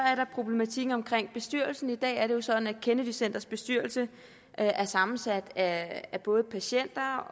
er der problematikken omkring bestyrelsen i dag er det jo sådan at kennedy centrets bestyrelse er sammensat af både patienter